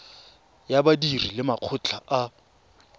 ya badiri le makgotla a